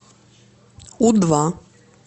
у два